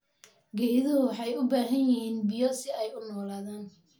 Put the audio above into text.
Geeduhu waxay u baahan yihiin biyo si ay u noolaadaan.